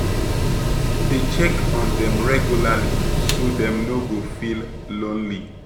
Dey check on dem regularly so dem no go feel lonely.